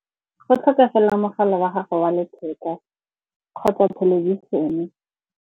Go tlhokagala mogala wa gago wa letheka kgotsa thelebišene.